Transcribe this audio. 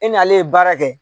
E nalen ye baara kɛ.